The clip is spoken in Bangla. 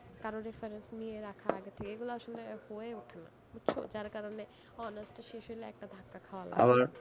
কারোর reference নিয়ে রাখা আগে থেকে, এগুলো আসলে হয়ে ওঠেনা, বুঝছ? যার কারণে honours টা শেষ হলে একটা ধাক্কা খাওয়া লাগে।